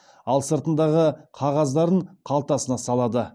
ал сыртындағы қағаздарын қалтасына салады